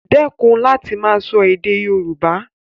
Dẹ́kun láti máa sọ èdè Yoruba